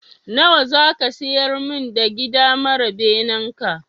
Nawa ne za ka siyar min da gida mara benen naka?